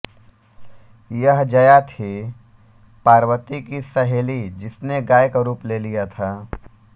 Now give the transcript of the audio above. यह जया थी पार्वती की सहेली जिसने गाय का रूप ले लिया था